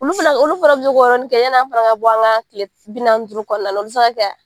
Olu fɛnɛ olu fɛnɛ bi se k'o yɔrɔni kɛ yan'an fana ka bɔ an ka kile bi naani ni duuru kɔnɔna na o te se ka kɛ a